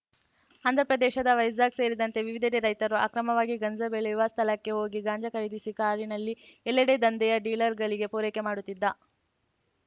ಆಂಧ್ರಪ್ರದೇಶದ ವೈಜಾಗ್‌ ಸೇರಿದಂತೆ ವಿವಿಧೆಡೆ ರೈತರು ಅಕ್ರಮವಾಗಿ ಗಾಂಜಾ ಬೆಳೆಯುವ ಸ್ಥಳಕ್ಕೆ ಹೋಗಿ ಗಾಂಜಾ ಖರೀದಿಸಿ ಕಾರಿನಲ್ಲಿ ಎಲ್ಲೆಡೆ ದಂಧೆಯ ಡೀಲರ್‌ಗಳಿಗೆ ಪೂರೈಕೆ ಮಾಡುತ್ತಿದ್ದ